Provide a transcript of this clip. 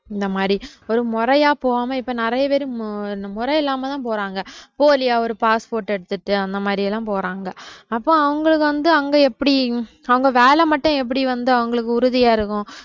இந்த மாதிரி ஒரு முறையா போகாம இப்ப நிறைய பேரு இந்த முறை இல்லாம தான் போறாங்க போலியா ஒரு passport எடுத்துட்டு அந்த மாதிரி எல்லாம் போறாங்க அப்போ அவங்களுக்கு வந்து அங்கே எப்படி அவங்க வேலை மட்டும் எப்படி வந்து அவங்களுக்கு உறுதியா இருக்கும்